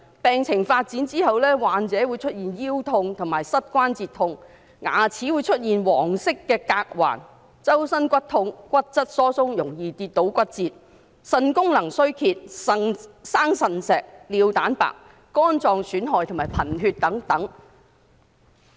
病情發展後，患者會出現腰痛和膝關節痛、牙齒會出現黃色的鎘環、全身骨骼疼痛、骨質疏鬆、容易跌倒骨折、腎功能衰竭、腎結石、尿蛋白、肝臟損害和貧血等。